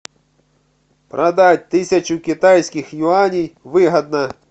продать тысячу китайских юаней выгодно